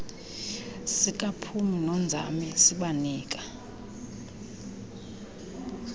sikaphumi nonzame sibanika